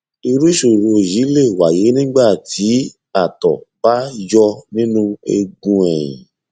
irú ìṣòro yìí lè wáyé nígbà tí àtọ bá yọ nínú eegun ẹyìn